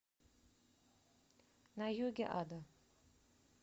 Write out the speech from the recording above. на юге ада